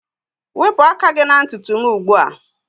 Wepụ aka gị na ntutu m ugbu a